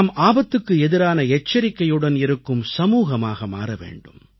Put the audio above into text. நாம் ஆபத்துக்கு எதிரான எச்சரிக்கையுடன் இருக்கும் சமூகமாக மாற வேண்டும்